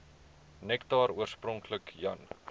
nektar oorspronklik jan